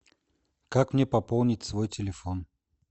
как мне пополнить свой телефон